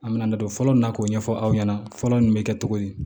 An bɛna na don fɔlɔ min na k'o ɲɛfɔ aw ɲɛna fɔlɔ nin bɛ kɛ cogo di